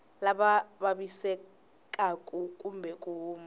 lava vavisekaku kumbe ku kuma